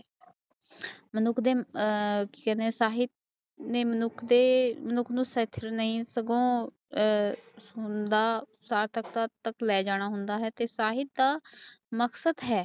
ਆ ਸਾਹਿਤ ਮਨੁੱਖ ਦੇ ਸੀਟ ਨਹੀ ਸਗੋਂ ਆ ਨਾਲ ਲੈ ਜਾਣਾ ਹੁੰਦਾ ਹੈ